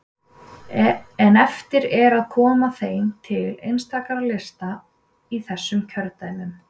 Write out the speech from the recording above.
En eftir er að koma þeim til einstakra lista í þessum kjördæmum.